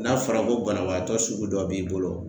N'a fɔra ko banabaatɔ sugu dɔ b'i bolo